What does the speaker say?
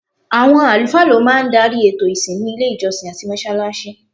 Awọn alufaa ló máa ń darí ètò ìsìn ní ilé ìjọsìn àti mọ́ṣáláṣí